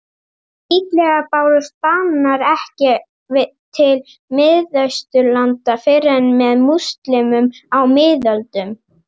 Líklega bárust bananar ekki til Miðausturlanda fyrr en með múslímum á miðöldum.